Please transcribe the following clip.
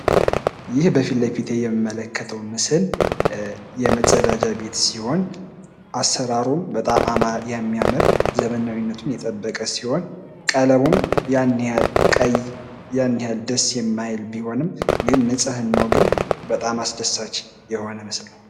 ይህ ምስል የመጸዳጃ ቤት ምስል ሲሆን፤ የሚያምር ፣ ዘመናዊ ቢሆንም ቀለሙ ቀይ ደስ አይልም። ጽዳቱ ግን በጣም አስደሳች ነው።